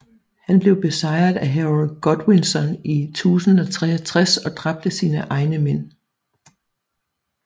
Han blev besejret af Harold Godwinson i 1063 og dræbt af sine egne mænd